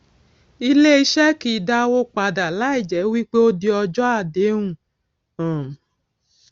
ilé iṣé kìí dàwó padà láì jé wípé ó di ọjó àdéhùn um